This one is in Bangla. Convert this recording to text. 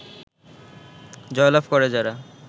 জয়লাভ করে যারা